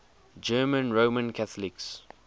german roman catholics